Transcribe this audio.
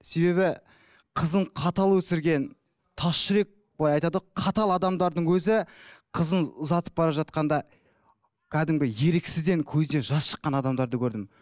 себебі қызын қатал өсірген тас жүрек былай айтады ғой қатал адамдардың өзі қызын ұзатып бара жатқанда кәдімгі еріксізден көзінен жас шыққан адамдарды көрдім